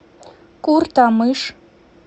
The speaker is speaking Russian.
куртамыш